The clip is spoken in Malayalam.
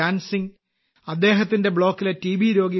ഗ്യാൻ സിംഗ് അദ്ദേഹത്തിന്റെ ബ്ലോക്കിലെ ടി